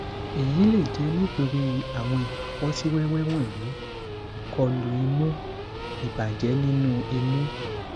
èyí lè jẹ́ nítorí àwọn ìfọ́síwẹ́wẹ́ wọ̀nyí ìkọlù imú ìbàjẹ́ nínú imú